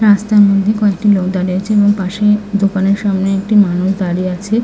রাস্তার মধ্যে কয়েকটি লোক দাঁড়িয়ে আছে এবং পাশে দোকানের সামনে একটি মানুষ দাঁড়িয়ে আছে --